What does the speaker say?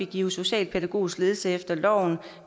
give socialpædagogisk ledsagelse efter loven